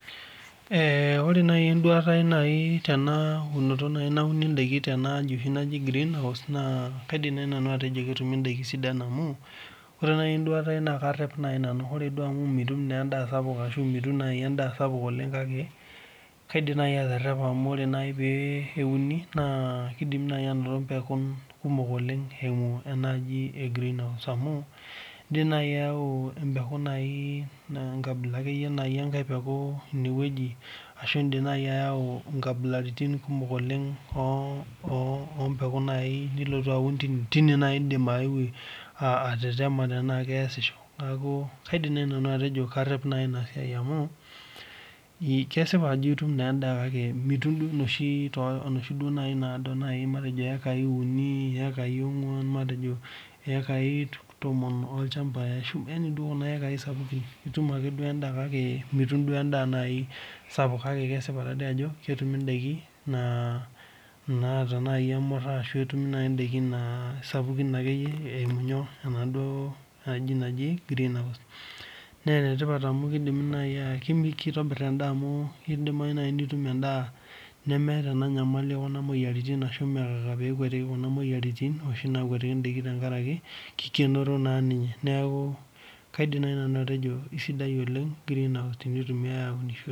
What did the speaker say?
ore naaji enduata ai tenaa unoto naaji nauni endakin tenaa aji naaji green house naa kaidim naaji nanu atejo kidimi anoto endakin sidan amu ore naaji enduata ai naa karep nanu ore duo amu mitum endaa sapuk kake kaidim naaji atarepa amu oree peuni naa kidimii naaji anoto pekuun kumok oleng eyimu enaaji ee green house amu edim naaji ayau empekuu naa enkabila akeyie naaji akeyie enkae peeku arashu edim naaji ayau nkabilaritin kumok oo mpekuun nilotu aun tine naaji edim eyeu atatema tenaa keyasisho neeku kaidim naaji nanu atejo karep enasiai amu kesipa Ajo etum endaa kake mitum duo enoshi duo matejo ekai uni ekae ong'uan matejo ekae tomon olchamba yaani Kuna ekai duo sapukin etum duo endaa kake mitum ndaa sapuk akkae kesipa Ajo ketumi ndaakin naaji emuraa arashu etumi endakin sapukin eyimu naaduo green house naa enetipat amu kidimi naaji kitobir endaa amu etum endaa nemeeta ena nyamali ekuna moyiaritin arashu mmee haraka peyie ekwetiki Kuna moyiaritin noshi naakwetiki ndakin tenkaraki kikenoro naa ninye neeku kaidim naaji atejo kaisidai oleng green house tenintumiai aunishore